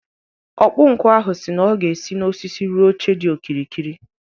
Ọkpụnkụ ahụ si na ọ ga-esi n’osisi rụọ oche dị okirikiri